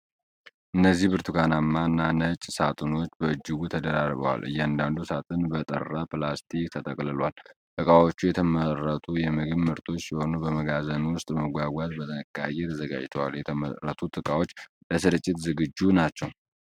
እነዚህ ብርቱካንማ እና ነጭ ሳጥኖች በእጅጉ ተደራርበዋል። እያንዳንዱ ሳጥን በጠራ ፕላስቲክ ተጠቅልሏል። እቃዎቹ የተመረቱ የምግብ ምርቶች ሲሆኑ በመጋዘን ውስጥ ለመጓጓዝ በጥንቃቄ ተዘጋጅተዋል። የተመረቱት እቃዎች ለስርጭት ዝግጁ ናቸው።